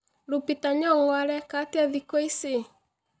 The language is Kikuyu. lupita nyongo areka atĩa thikũ ici